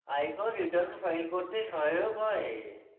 আয়কর returns file করতে সহায়ক হয়